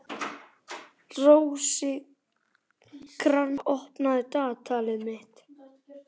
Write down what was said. Rósinkransa, opnaðu dagatalið mitt.